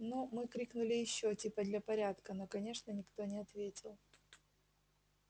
ну мы крикнули ещё типа для порядка но конечно никто не ответил